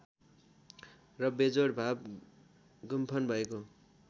र बेजोड भाव गुम्फन भएको